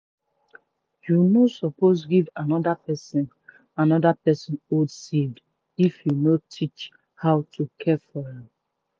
you no suppose give another person another person old seed if you no teach how to care for am.